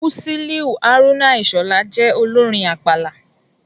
Musiliu Haruna Ishola jẹ́ olórin àpàlà.